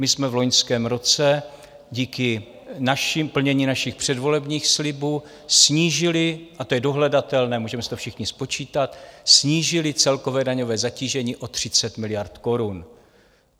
My jsme v loňském roce díky plnění našich předvolebních slibů snížili, a to je dohledatelné, můžeme si to všichni spočítat, snížili celkové daňové zatížení o 30 miliard korun.